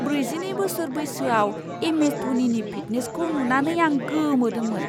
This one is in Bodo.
ब्रैजिनै बोसोर बैसोयाव एमएस धनीनि फिटनेसखौ नुनानै आं गोमोदोंमोन।